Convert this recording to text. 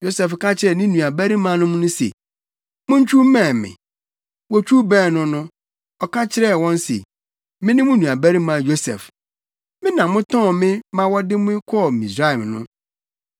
Yosef ka kyerɛɛ ne nuabarimanom no se, “Montwiw mmɛn me.” Wotwiw bɛn no no, ɔka kyerɛɛ wɔn se, “Mene mo nuabarima Yosef. Me na motɔn me ma wɔde me kɔɔ Misraim no.